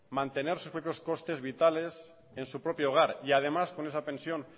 mantener sus costes vitales en su propio hogar y además con esa pensión